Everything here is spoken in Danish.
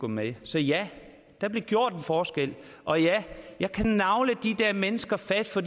med så ja der blev gjort en forskel og ja jeg kan nagle de der mennesker fast for